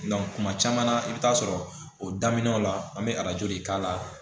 kuma caman na i bi taa sɔrɔ o daminɛw la an be de k'a la